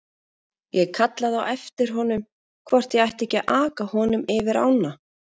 Ég kallaði á eftir honum hvort ég ætti ekki að aka honum yfir ána.